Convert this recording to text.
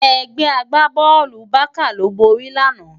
Ègbè àgbábòlú Bàká ló bóri làná